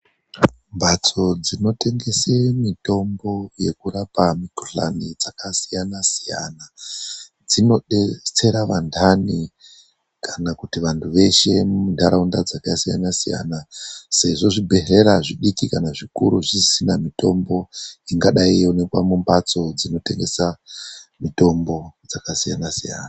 Mhatso dzinotengesa mitombo yekurapa mikhuhlani dzakasiyana -siyana dzinodetsera vanhani kana kuti vanthu veshe munharaunda dzakasiyana siyana sezvo zvibhedhlera zvidiki kana zvikuru zvisina mitombo ingadai yeioneka mumbatso inotengesa mitombo dzakasiyana -siyana.